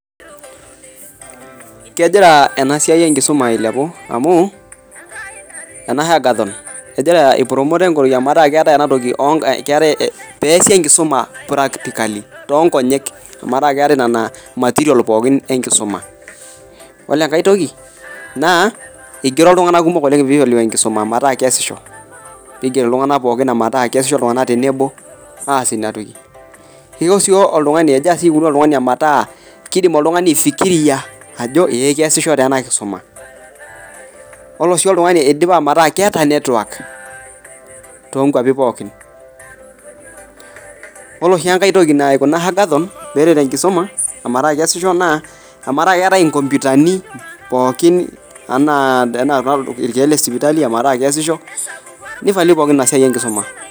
Kegira ena siai enkisuma ailepu amuu ena ee hagathom eipromota metaa keesi enkisuma practicali too Nkonyek oo metaa keetae nean material pookin enkisuma ore enkae toki naa eigero iltung'ana pee eiteru enkisuma pee eigeri iltung'ana pookin metaa keisho tenebo kegira sii asho oltung'ani metaa kidim aifikiria Ajo kesisho taa ninye ena kisuma ore si oltung'ani eidipa metaa keeta network too nkwapii pookin ore sii enkae naikuna hagathon enkisuma metaa kesisho naa ometaa keetae nkompitani pookin enaa irkeek lee sipitali metaa kesishoi nivalue enasiai pookin enkisuma